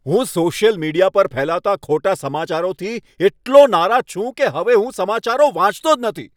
હું social media પર ફેલાતા ખોટા સમાચારોથી એટલો નારાજ છું કે હવે હું સમાચારો વાંચતો જ નથી.